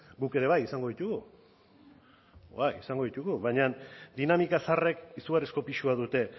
guk ere bai izango ditugu izango ditugu baina dinamika zaharrek izugarrizko pisua dute